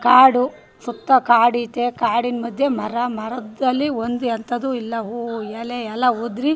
ಕಾಡು ಸುತ್ತ ಕಾಡು ಅಯ್ತೆ ಕಾಡಿನ ಮದ್ಯ ಮರ ಮರದಲ್ಲಿ ಒಂದ್ ಎಂಥದು ಇಲ್ಲ ಹೂ ಎಲೆ ಎಲ್ಲ ಉದ್ರಿ --